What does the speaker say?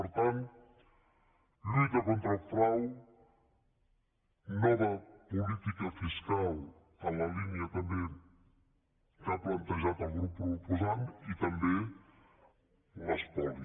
per tant lluita contra el frau nova política fiscal en la línia també que ha plantejat el grup proposant i també l’espoli